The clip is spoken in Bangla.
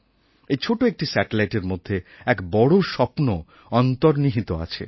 এই ছোটো একটি স্যাটেলাইটএর মধ্যে এক বড়ো স্বপ্ন অন্তর্নিহিত আছে